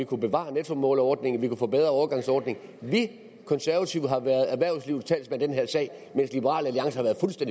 kunne bevare nettomålerordningen og bedre overgangsordning vi konservative har været erhvervslivets talsmand i den her sag mens liberal alliance